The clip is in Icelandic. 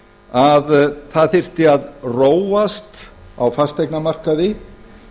að það þyrfti að róast á fasteignamarkaði